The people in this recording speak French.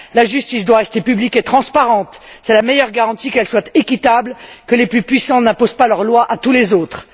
La justice doit rester publique et transparente. C'est la meilleure garantie qu'elle soit équitable, que les plus puissants n'imposent pas leur loi à tous les autres.